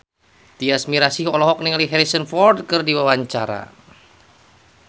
Tyas Mirasih olohok ningali Harrison Ford keur diwawancara